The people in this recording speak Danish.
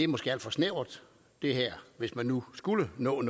måske er alt for snævert hvis man nu skulle nå